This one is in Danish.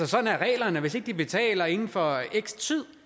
sådan er reglerne hvis ikke de betaler inden for x tid